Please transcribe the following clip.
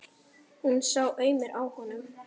Hún sá aumur á honum.